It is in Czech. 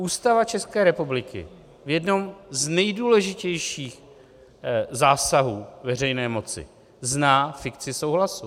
Ústava České republiky v jednom z nejdůležitějších zásahů veřejné moci zná fikci souhlasu.